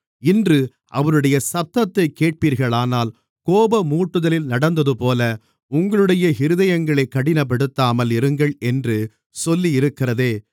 இன்று அவருடைய சத்தத்தைக் கேட்பீர்களானால் கோபமூட்டுதலில் நடந்ததுபோல உங்களுடைய இருதயங்களைக் கடினப்படுத்தாமல் இருங்கள் என்று சொல்லியிருக்கிறதே